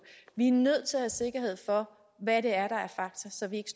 vi er nødt til have sikkerhed for hvad det er der er fakta så vi ikke